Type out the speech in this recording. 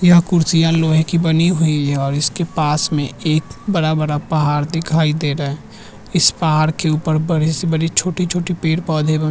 यह कुर्सियां लोहे की बनी हुई है और इसके पास में एक बड़ा-बड़ा पहाड़ दिखाई दे रहा है इस पहाड़ के ऊपर बड़ी से बड़ी छोटी-छोटी पेड़ पौधे ब --